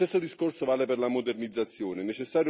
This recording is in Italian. Lo stesso discorso vale per la modernizzazione.